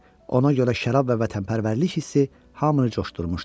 Ona görə şərab və vətənpərvərlik hissi hamını coşdurmuşdu.